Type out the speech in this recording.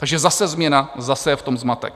Takže zase změna, zase je v tom zmatek.